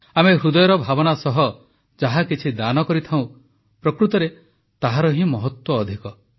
ଆମେ ହୃଦୟର ଭାବନା ସହ ଯାହା କିଛି ଦାନ କରିଥାଉଁ ପ୍ରକୃତରେ ତାହାର ହିଁ ମହତ୍ୱ ଅଧିକ